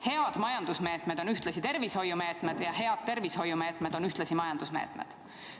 Head majandusmeetmed on ühtlasi tervishoiumeetmed ja head tervishoiumeetmed on ühtlasi majandusmeetmed.